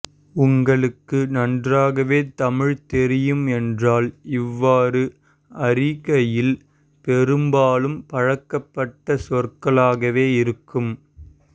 உங்களுக்கு நன்றாகவே தமிழ் தெரியும் என்றால் இவ்வாறு அறிகையில் பெரும்பாலும் பழக்கப்பட்ட சொற்களாகவே இருக்கும்